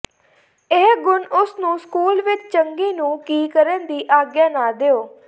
ਇਹ ਗੁਣ ਉਸ ਨੂੰ ਸਕੂਲ ਵਿਚ ਚੰਗੀ ਨੂੰ ਕੀ ਕਰਨ ਦੀ ਆਗਿਆ ਨਾ ਦਿਓ